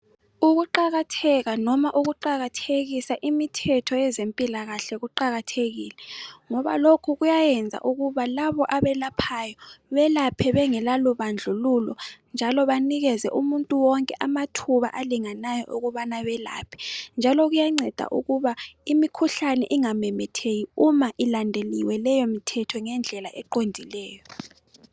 Ukuqakatheka noma ukuqakatthekisa imithetho yezempilakahle kuqakathekile ngoba lokhu kwenza ukuthi labo abelaphayo belaphe bengalabandlululo njalo banikeze umuntu wonke amathuba alingeneyo okubana abelaphe njalo kuyanceda ukuthi imikhuhlane ingamemetheki uma ilandeliwe leyo mithetho ngendlela eqondileyo.